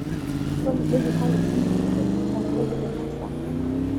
tolikioki hali enkijape enairobi tenasaa